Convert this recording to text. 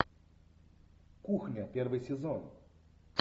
кухня первый сезон